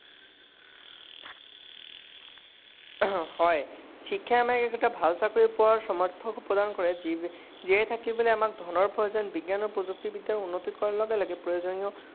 শিক্ষাই আমাক ভাল চাকৰি পাবলৈ সমৰ্থন প্ৰদান কৰে। জীয়াই থাকিবলৈ আমাক প্ৰয়োজন। বিজ্ঞান প্ৰযুক্তিৰ উন্নতি কৰাৰ লগে লগে